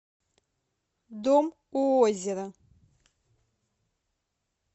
дом у озера